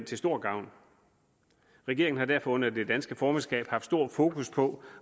til stor gavn regeringen har derfor under det danske formandskab haft stor fokus på